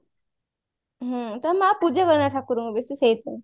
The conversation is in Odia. ହୁଁ ତା ମା ପୂଜା କରେନି ଠାକୁରଙ୍କୁ ବେଶୀ ସେଇଥି ପାଇଁ